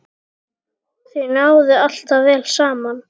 Þau náðu alltaf vel saman.